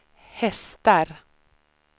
hästar